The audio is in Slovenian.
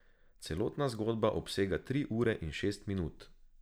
Celotna zgodba obsega tri ure in šest minut.